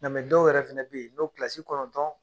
Nka dɔw yɛrɛ fana be yen n'o kɔnɔntɔn